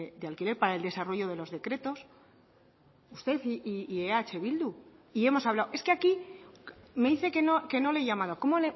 de alquiler para el desarrollo de los decretos usted y eh bildu y hemos hablado es que aquí me dice que no le he llamado cómo